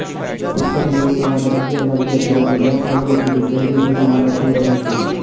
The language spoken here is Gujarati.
પુસ્તકમેળો સવારે અગિયાર વાગ્યાથી રાતે દસ વાગ્યા સુધી શહેરીજનો માટે ખુલ્લો રહેશે